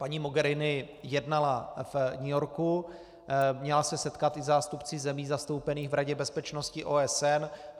Paní Mogherini jednala v New Yorku, měla se setkat se zástupci zemí zastoupených v Radě bezpečnosti OSN.